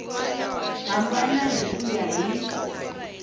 hambana hi ku ya hi